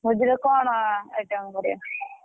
ଭୋଜିରେ କଣ item କରିବ?